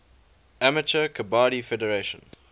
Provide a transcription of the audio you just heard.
amateur kabaddi federation